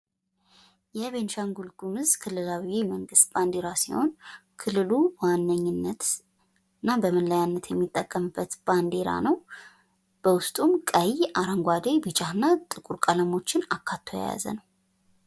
የቤኒሻንጉል ጉምዝ ክልላዊ መንግስት ባንዲራ ሲሆን ክልሉ በዋነኝነት እና በመለያነት የሚጠቀምበት ባንድራ ነው። በውስጡም ቀይ አረንጓዴ ቢጫና ጥቁር ቀለሞችን አካቶ የያዘ ነው።